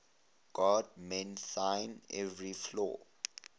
god mend thine every flaw